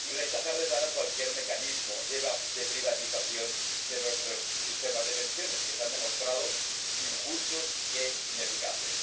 Y rechazar de plano cualquier mecanismo de privatización de nuestros sistemas de pensiones, que se han demostrado injustos e ineficaces.